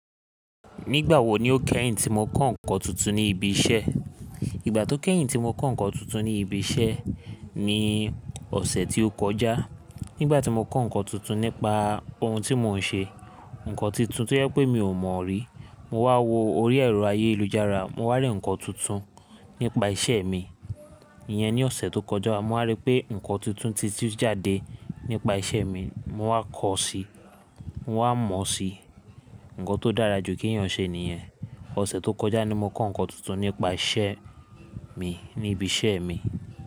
Nígbà wo ni o kẹ́yìn tí mo kọ́ ǹkan tuntun ní ibi iṣẹ́? Ìgbà tó kẹ́yìn tí mo kọ́ ǹkan tuntun ní ibi iṣẹ́ mi ni ọ̀sẹ̀ tó kọjá. Nígbà tí mo kọ́ ǹkan tuntun nípa ohun tí mò ń ṣe, ǹkan tuntun tó yẹ pé mi ò mọ̀ rí, mo wá wo orí ẹ̀rọ ayélujára, mo wá rí ǹkan tuntun nípa iṣẹ́ mi. Iyẹn ni ọ̀sẹ̀ tó kọjá, mo wá rí pé ǹkan tuntun ti tí ó jáde nípa iṣẹ́ mi, mo wá kọ́ ọ sí i, mo wá mọ ọ sí i. Ǹkan tó dára jù kí èyàn ṣe nìyẹn. Ọ̀sẹ̀ tó kọjá ni mo kọ́ ǹkan tuntun nípa isẹ́ mi ní ibi iṣẹ́ mi.